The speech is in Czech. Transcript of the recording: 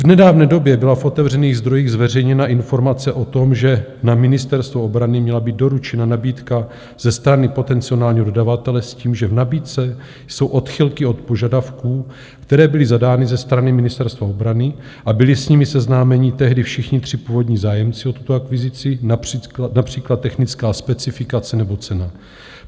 V nedávné době byla v otevřených zdrojích zveřejněna informace o tom, že na Ministerstvo obrany měla být doručena nabídka ze strany potenciálního dodavatele s tím, že v nabídce jsou odchylky od požadavků, které byly zadány ze strany Ministerstva obrany a byli s nimi seznámeni tehdy všichni tři původní zájemci o tuto akvizici, například technická specifikace nebo cena.